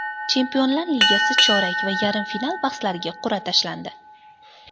Chempionlar Ligasi chorak va yarim final bahslariga qur’a tashlandi.